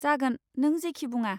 जागोन, नों जेखि बुङा।